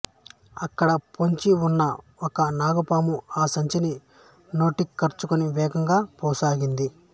అక్కడ పొంచి ఉన్న ఒక నాగపాము ఆ సంచిని నోటకరచుకుని వేగంగా పోసాగింది